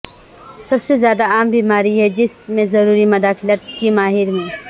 سب سے زیادہ عام بیماری ہے جس میں ضروری مداخلت کے ماہر میں